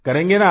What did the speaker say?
करेंगे न आप